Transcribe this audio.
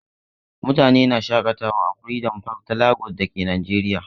Mutane na shaƙatawa a freedom park ta Lagos da ke Najeriya.